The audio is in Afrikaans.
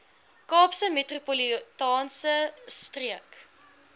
kaapse metropolitaanse streek